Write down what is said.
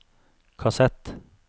kassett